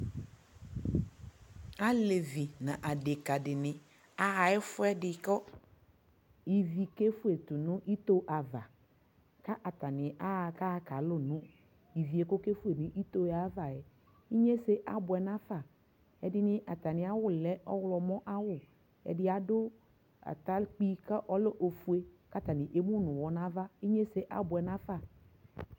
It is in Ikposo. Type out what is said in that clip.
Alevi nʋ adikadi ni aɣa ɛfuɛdi kʋivi kefue tu nʋ ito ava kʋ atani aɣa kalʋ nʋ ivi hɛ kʋ okefue nʋ yɛ ayʋava yɛ Inyese abuɛ nafa Ɛdi ni atami awu lɛ ɔɣlɔmɔ ayʋawu Ɛdi atakpui kʋ ɔlɛ ofue kʋ atani emu nʋ uwɔ nʋ ava Inyese abuɛ nafa